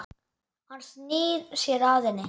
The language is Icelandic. Hann snýr sér að henni.